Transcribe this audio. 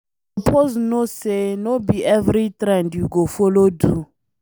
You suppose know say no be every trend you go follow do.